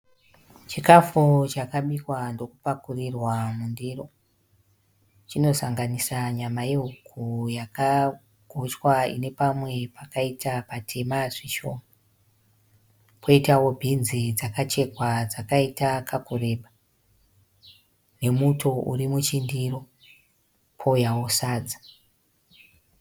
Chikafu chakabikwa ndokupakurirwa mundiro. Chinosanganisa nyama yehuku yakagochwa ine pamwe pakaita patema zvishoma, poitawo bhinzi dzakachekwa dzakaita kakureba nemuto uri muchindiro pouyawo sadza.